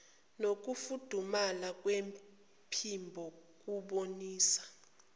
nokufudumala kwephimbo ukubonisa